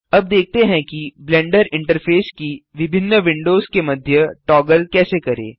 अब देखते हैं कि ब्लेंडर इंटरफेस की विभिन्न विंडोज के मध्य टॉगल कैसे करें